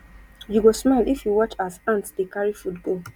you go smile if you watch as ant dey carry food go